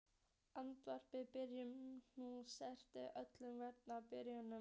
Að endingu byrjaði hún samkvæmt öllum venjum á byrjuninni.